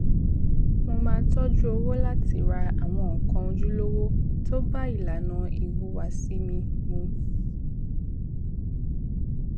mo máa tọjú owó láti ra àwọn nǹkan ojúlówó tó bá ilànà ìhùwàsí mi mu